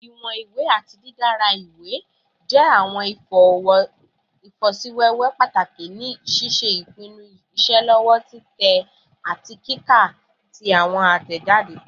Iwọn iwe ati didara iwe jẹ awọn ifosiwewe pataki ni ṣiṣe ipinnu iṣelọpọ titẹ ati kika ti awọn atẹjade